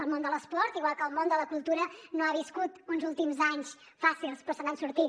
el món de l’esport igual que el món de la cultura no ha viscut uns últims anys fàcils però se n’ha sortit